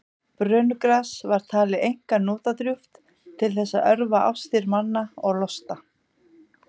brönugras var talið einkar notadrjúgt til þess að örva ástir manna og losta